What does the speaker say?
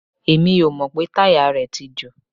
Èmi ò mọ̀ pé táyà rẹ̀ tí jò.